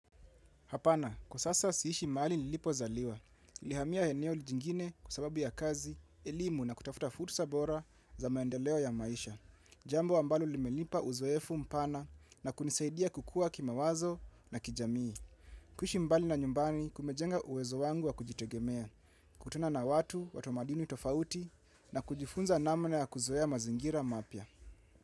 Hapana, kwa sasa siishi mahali nilipozaliwa. Nilihamia eneo jingine kwa sababu ya kazi, elimu na kutafuta fursa bora za maendeleo ya maisha. Jambo ambalo limelipa uzoefu mpana na kunisaidia kukuwa kimawazo na kijamii. Kuishi mbali na nyumbani kumejenga uwezo wangu wa kujitegemea, kutana na watu watu wa madini tofauti na kujifunza namna ya kuzoea mazingira mapya.